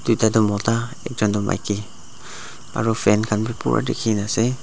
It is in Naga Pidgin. tuita tu mota ekjon toh maki aro fan khan bi pura dikhinaase.